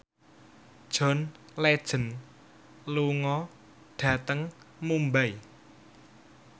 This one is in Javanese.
John Legend lunga dhateng Mumbai